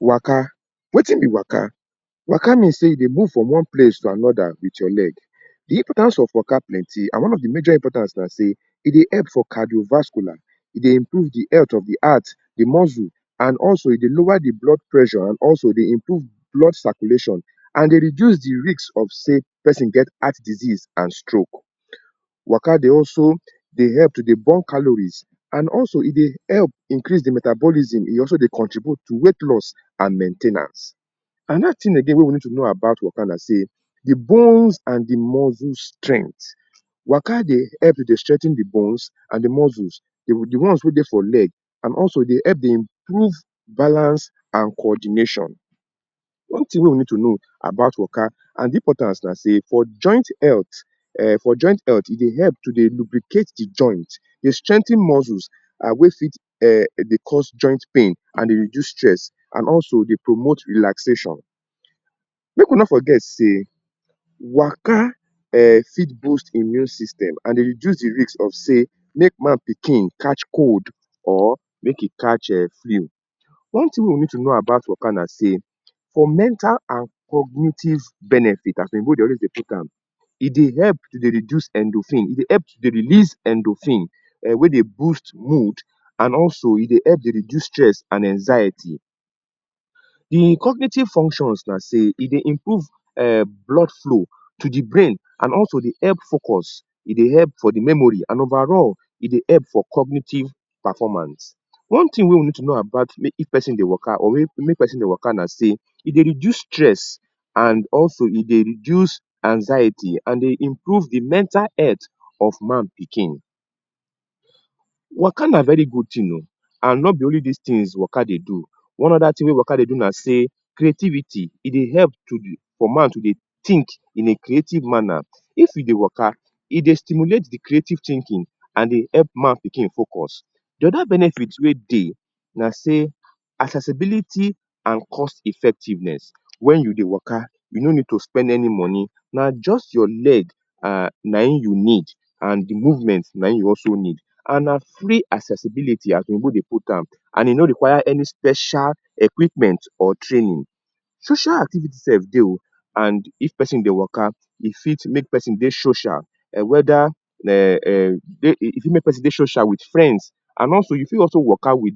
Waka. Wetin be waka? Waka mean sey you dey move from one place to another wit your leg. De importance of waka plenty and one of de major importance na sey, e dey help for cardio-vascular. E dey improve de health of the heart, the muscle and also e dey lower the blood pressure and also dey improve blood circulation and dey reduce de risk of sey pesin get heart disease and stroke. Waka dey also dey help to dey burn calories. And also e dey help increase de metabolism. E also dey contribute to weight loss and main ten ance. Another thing again wey we need to know about waka na sey, de bones and de muscle strength. Waka dey help dey strengthen de bones and de muscles; de ones wey dey for leg. And also e dey help dey improve balance and coordination. One thing wey we need to know about waka and de importance na sey for joint health[um] for joint health, e dey help to dey lubricate de joint, dey strengthen muscles um wey fit um dey cause joint pain and dey reduce stress and also dey promote relaxation. Make we no forget sey waka um fit boost immune system and dey reduce de risk of sey make man-pikin catch cold or make e catch um flu. One thing wey we need to know about waka na sey, for mental and cognitive benefit as Oyinbo dey always dey put am, e dey help to dey reduce endorphin, e dey help dey release endorphin um wey dey boost mood and also e dey help dey reduce stress and anxiety. De cognitive functions na sey, e dey improve um blood flow to de brain and also dey help focus. E dey help for de memory, and overall, e dey help for cognitive performance. One thing wey we need to know about if pesin dey waka or make pesin dey waka na sey, e dey reduce stress and also e dey reduce anxiety and dey improve de mental health of man-pikin. Waka na very good thing o! And no be only these things waka dey do. One other thing wey waka dey do na sey na creativity. E dey help for man to dey think in a creative manner. If e dey waka, e dey stimulate de creative thinking and dey help man-pikin focus. De other benefit wey dey na sey, accessibility and cost effectiveness. Wen you dey waka, you no need to spend any money, na just your leg um naim you need and de movement naim you also need. And na free accessibility, as Oyibo dey put am. And e no require any special equipment or training. Social activity sef dey o! And if pesin dey waka, e fit make pesin dey social whether um um e fit make pesin dey social wit friends. And also you fit also waka wit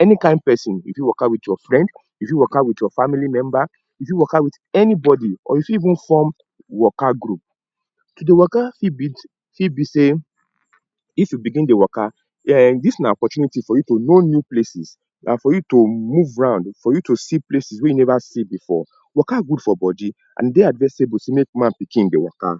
any kind pesin. You fit waka wit your friend, you fit waka wit your family member, you fit waka wit anybody or you fit even form waka group. To dey waka fit be fit be sey, if you begin dey waka, um dis na opportunity for you to know new places, and for you to move round, for you to see places wey you never see before. Waka good for body. And e dey advisable sey make man-pikin dey waka